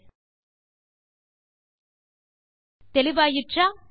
000316 000315 தெளிவாயிற்றா